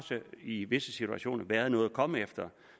i visse situationer været noget at komme efter